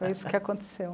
Foi isso que aconteceu.